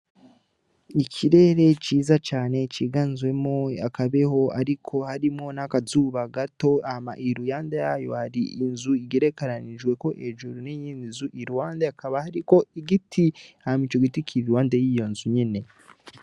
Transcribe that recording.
Ikirere ciza cane ciganzwemwo akabeho ariko harimwo n' akazuba gato hama iruhande yayo hari inzu igerekeranijweko hejuru n' iyindi nzu iruhande hakaba hariko igiti hanyuma ico giti kiri iruhande yiyo nzu nyene.